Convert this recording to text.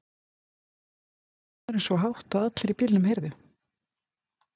hrópaði maðurinn svo hátt að allir í bílnum heyrðu.